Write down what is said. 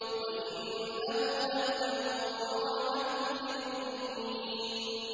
وَإِنَّهُ لَهُدًى وَرَحْمَةٌ لِّلْمُؤْمِنِينَ